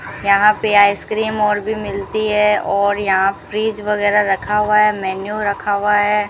यहां पे आइसक्रीम और भी मिलती है और यहां फ्रिज वगैरा रखा हुआ है मैन्यू रखा हुआ है।